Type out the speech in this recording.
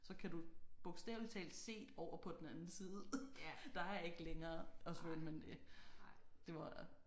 Så kan du bogstavelig talt se over på den anden side. Der er ikke længere at svømme end det. Det var